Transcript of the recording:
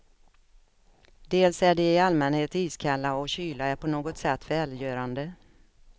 Dels är de i allmänhet iskalla, och kyla är på något sätt välgörande.